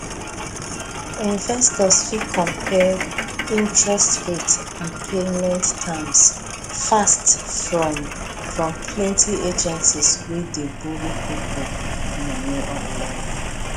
investors fit compare interest rate and payment terms fast from from plenty agency wey dey borrow people money online